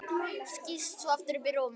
Skýst svo aftur upp í rúm.